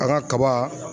An ka kaba